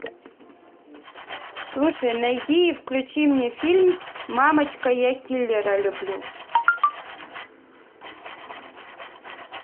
слушай найди и включи мне фильм мамочка я киллера люблю